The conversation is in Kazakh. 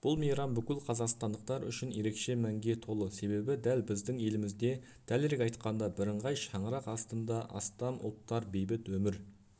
бұл мейрам бүкіл қазақстандықтар үшін ерекше мәнге толы себебі дәл біздің елімізде дәлірек айтқанда бірыңғай шаңырақ астында астам ұлттар бейбіт өмір